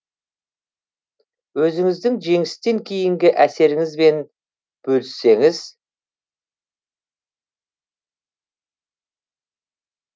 өзіңіздің жеңістен кейінгі әсеріңізбен бөліссеңіз